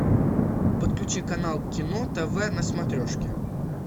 подключи канал кино тв на смотрешке